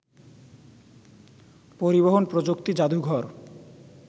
পরিবহন প্রযুক্তি জাদুঘর